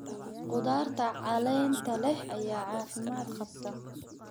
Khudaarta caleenta leh ayaa caafimaad qabta.